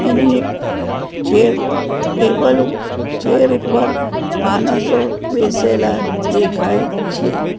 એની અ chair table ઉ chair ઉપર માનસો બેસેલા દેખાય છે.